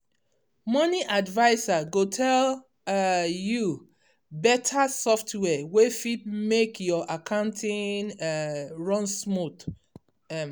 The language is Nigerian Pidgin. money adviser go tell um you better software wey fit make your accounting um run smooth. um